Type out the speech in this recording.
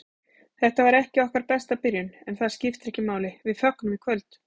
Þetta var ekki okkar besta byrjun, en það skiptir ekki máli, við fögnum í kvöld.